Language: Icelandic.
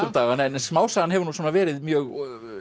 um dagana en smásagan hefur nú svona verið mjög